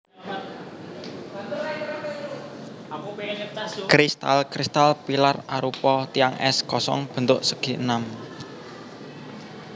Kristal kristal pilar arupa tiang es kosong bentuk segi enam